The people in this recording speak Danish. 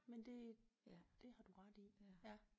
Men det det har du ret i ja